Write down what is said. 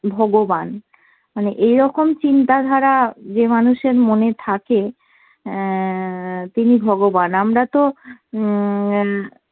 ভগবান। মানে এরকম চিন্তাধারা যে মানুষের মনে থাকে অ্যাঁ তিনি ভগবান। আমরা তো উম